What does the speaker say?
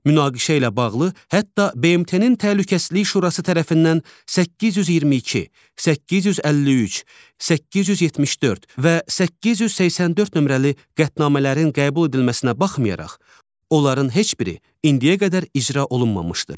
Münaqişə ilə bağlı hətta BMT-nin Təhlükəsizlik Şurası tərəfindən 822, 853, 874 və 884 nömrəli qətnamələrin qəbul edilməsinə baxmayaraq, onların heç biri indiyə qədər icra olunmamışdır.